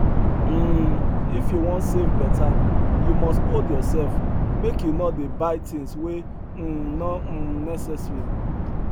um if you wan save better you must hold yourself make you no dey buy things wey um no um necessary